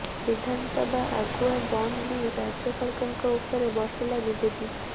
ବିଧାନସଭା ଆଗୁଆ ବନ୍ଦ ନେଇ ରାଜ୍ୟ ସରକାରଙ୍କ ଉପରେ ବର୍ଷିଲା ବିଜେପି